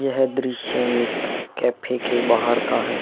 यह दृश्य एक कैफै के बाहर का है।